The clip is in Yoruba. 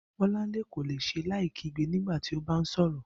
Bó̩lánlé kò le s̩e láì kígbe nígbà tí ó bá ǹ sò̩rò̩